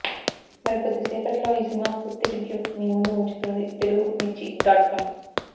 మరి కొద్ది సేపట్లో ఈ సినిమా పూర్తి రివ్యూ మీముందు ఉంచుతుంది తెలుగు మిర్చి డాట్ కమ్